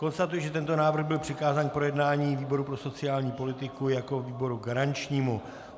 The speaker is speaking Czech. Konstatuji, že tento návrh byl přikázán k projednání výboru pro sociální politiku jako výboru garančnímu.